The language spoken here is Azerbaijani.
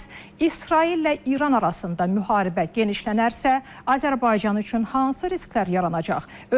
Bəs İsraillə İran arasında müharibə genişlənərsə, Azərbaycan üçün hansı risklər yaranacaq?